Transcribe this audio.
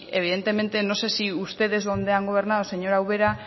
evidentemente no sé si ustedes donde han gobernado señora ubera